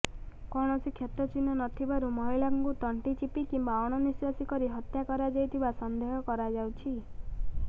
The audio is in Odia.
କୌଣସି କ୍ଷତ ଚିହ୍ନ ନଥିବାରୁ ମହିଳାଙ୍କୁ ତଣ୍ଟି ଚିପି କିମ୍ବା ଅଣନିଶ୍ବାସୀ କରି ହତ୍ୟା କରାଯାଇଥିବା ସନ୍ଦେହ କରାଯାଉଛି